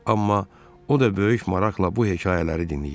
Amma o da böyük maraqla bu hekayələri dinləyirdi.